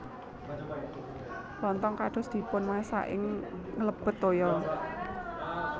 Lontong kados dipunmasak ing nglebet toya